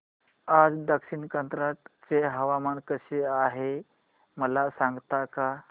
आज दक्षिण कन्नड चे हवामान कसे आहे मला सांगता का